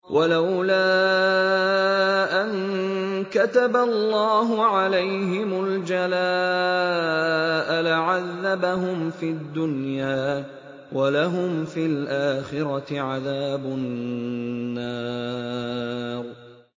وَلَوْلَا أَن كَتَبَ اللَّهُ عَلَيْهِمُ الْجَلَاءَ لَعَذَّبَهُمْ فِي الدُّنْيَا ۖ وَلَهُمْ فِي الْآخِرَةِ عَذَابُ النَّارِ